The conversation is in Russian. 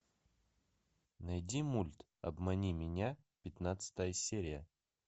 найди мульт обмани меня пятнадцатая серия